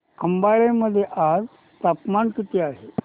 खंबाळे मध्ये आज तापमान किती आहे